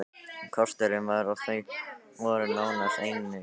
Kosturinn var að þau voru nánast ein í salnum.